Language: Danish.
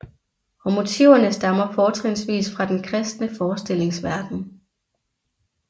Og motiverne stammer fortrinsvis fra den kristne forestillingsverden